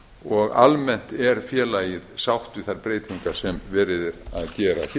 og almennt er félagið sátt við þær breytingar sem verið er að gera hér